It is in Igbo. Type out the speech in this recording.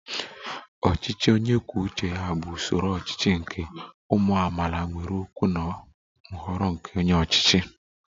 Ọchịchị onye kwuo uche ya bụ usoro ọchịchị nke ụmụ amaala nwere okwu na nhọrọ nke onye ọchịchị